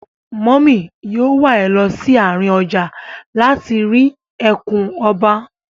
Mọ́mì yóò wà ẹ lọ sí àárín ọjà láti rí ẹkùn ọba.